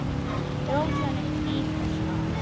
Dró síðan upp hníf og skar.